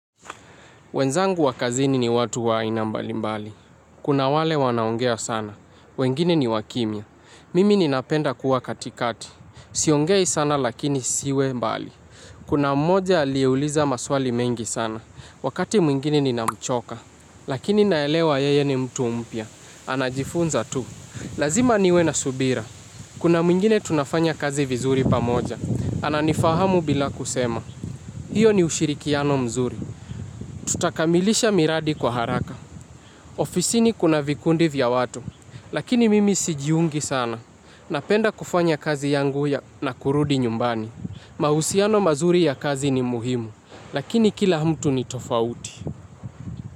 Wenzangu wa kazini ni watu wa aina mbali mbali. Kuna wale wanaongea sana. Wengine ni wakimia. Mimi ninapenda kuwa katikati. Siongei sana lakini siwe mbali. Kuna mmoja aliyeuliza maswali mengi sana. Wakati mwingine ninamchoka. Lakini naelewa yeye ni mtu mpya. Anajifunza tu. Lazima niwe na subira. Kuna mwingine tunafanya kazi vizuri pamoja. Ananifahamu bila kusema. Hiyo ni ushirikiano mzuri. Tutakamilisha miradi kwa haraka. Ofisini kuna vikundi vya watu. Lakini mimi sijiungi sana. Napenda kufanya kazi yangu na kurudi nyumbani. Mahusiano mazuri ya kazi ni muhimu lakini kila mtu ni tofauti.